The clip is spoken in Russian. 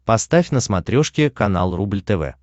поставь на смотрешке канал рубль тв